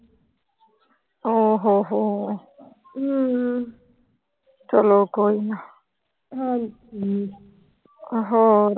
ਓ ਹੋ ਹੋ। ਚਲੋ ਕੋਈ ਨਾ। ਹੋਰ।